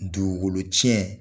Dugukolo tiɲɛ